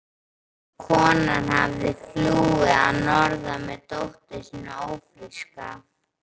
Konan hafði flúið að norðan með dóttur sína ófríska.